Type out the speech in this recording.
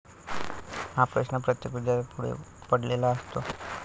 हा प्रश्न प्रत्येक विद्यार्थ्यांपुढे पडलेला असतो.